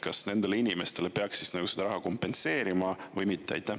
Kas nendele inimestele peaks selle raha kompenseerima või mitte?